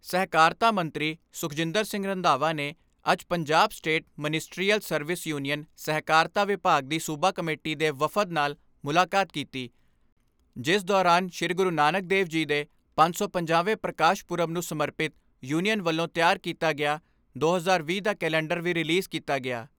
ਸਹਿਕਾਰਤਾ ਮੰਤਰੀ ਸੁਖਜਿੰਦਰ ਸਿੰਘ ਰੰਧਾਵਾ ਨੇ ਅੱਜ Punjab state ministerial service union ਸਹਿਕਾਰਤਾ ਵਿਭਾਗ ਦੀ ਸੂਬਾ ਕਮੇਟੀ ਦੇ ਵਫਦ ਨਾਲ ਮੁਲਾਕਾਤ ਕੀਤੀ ਜਿਸ ਦੌਰਾਨ ਸ੍ਰੀ ਗੁਰੂ ਨਾਨਕ ਦੇਵ ਜੀ ਦੇ ਪੰਜ ਸੌ ਪੰਜਾਹ ਵੇਂ ਪ੍ਰਕਾਸ਼ ਪੁਰਬ ਨੂੰ ਸਮਰਪਿਤ ਯੂਨੀਅਨ ਵੱਲੋਂ ਤਿਆਰ ਕੀਤਾ ਗਿਆ ਦੋ ਹਜ਼ਾਰ ਵੀਹ ਦਾ ਕੈਲੰਡਰ ਵੀ ਰਿਲੀਜ਼ ਕੀਤਾ ਗਿਆ।